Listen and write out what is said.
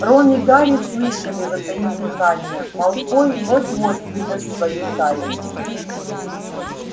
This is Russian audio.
рон и гарри слышали затаив дыхание малфой вот-вот выдаст свою тайну